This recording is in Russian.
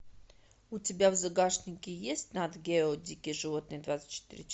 у тебя в загашнике есть нат гео дикие животные двадцать четыре